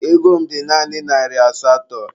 Ego m dị naanị narị asatọ.